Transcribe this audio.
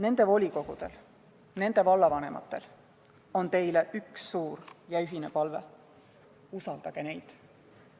Nende volikogudel ja vallavanematel on teile üks suur ühine palve: usaldage neid!